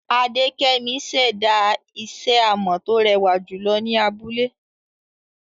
Adekemi ṣẹ̀dá isẹ́ amọ̀ tó rẹwà jùlọ ni abúlé.